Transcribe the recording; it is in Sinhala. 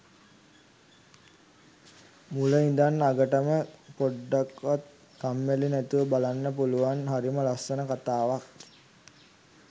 මුල ඉඳන් අගටම පොඩ්ඩක්වත් කම්මැලි නැතුව බලන්න පුලුවන් හරිම ලස්සන කතාවක්.